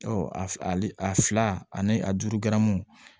Ɔ ali a fila ani a duuru gɛrɛɛmwɛ